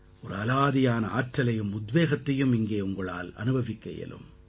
ஒரு அலாதியான ஆற்றலையும் உத்வேகத்தையும் இங்கே உங்களால் அனுபவிக்க இயலும்